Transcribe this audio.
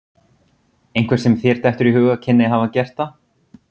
Einhver sem þér dettur í hug að kynni að hafa gert það?